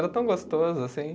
Era tão gostoso assim.